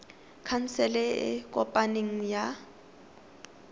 khansele e e kopaneng ya